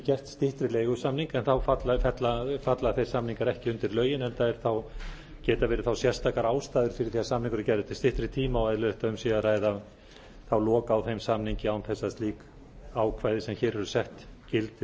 gert styttri leigusamning en þá falla þeir samningar ekki undir lögin enda geta verið þá sérstakar ástæður fyrir því að samningur er gerður til styttri tíma og eðlilegt að um sé að ræða þá lok á þeim samningi án þess að slík ákvæði sem hér eru sett gildi